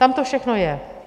Tam to všechno je.